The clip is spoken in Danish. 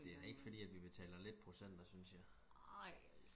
det er da ikke fordi at vi betaler lidt procenter synes jeg